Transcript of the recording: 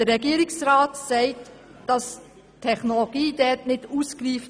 Der Regierungsrat sagt, die Technologie sei nicht ausgereift.